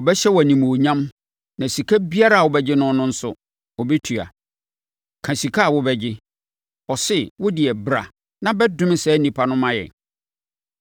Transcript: Ɔbɛhyɛ wo animuonyam na sika biara a wɔbɛgye no no nso, ɔbɛtua. Ka sika a wobɛgye! Ɔse, wo deɛ, bra na bɛdome saa nnipa no ma yɛn.”